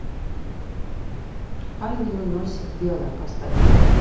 ангелы носят белое поставь